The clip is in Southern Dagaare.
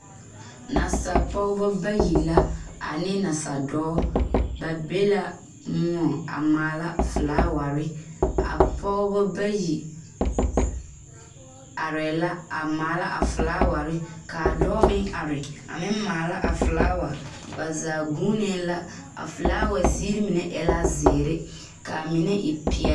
Nasapogeba bayi la ane nasadɔɔ ba be la moɔŋ a maalaa flaawarre a pogeba bayi areɛɛ la a maala a flaawarre kaa dɔɔ meŋ are a meŋ maala a flaawa ba zaa guunee la a flaawa zie mine ela zeere kaa mine e peɛl.